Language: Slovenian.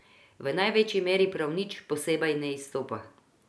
V največji meri prav nič posebej na izstopa.